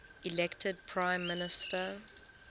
elected prime minister